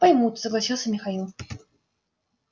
поймут согласился михаил